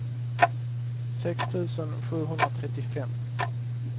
sex tusen sjuhundratrettiofem